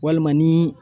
Walima ni